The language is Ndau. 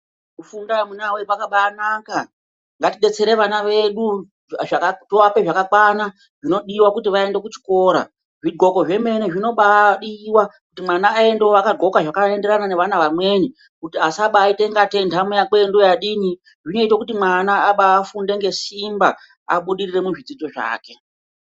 Kufunda amunawee kwakabaanaka. Ngatidetsere vana vedu zvaka tovape zvakakwana zvinodiwa kuti vaende kuchikora. Zvidhloko zvemene zvinobaadiwa kuti mwana aendewo akadhloka zvakaenderana nevana vamweni, kuti asabaite ungatei nhamo yakeyo ndoyadini. Zvinoite kuti mwana abaafunde ngesimba ,abudirire muzvidzidzo zvake.